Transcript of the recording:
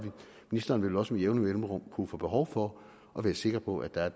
ministeren vil også med jævne mellemrum kunne få behov for at være sikker på at der er